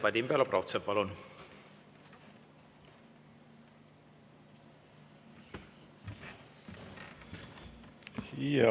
Vadim Belobrovtsev, palun!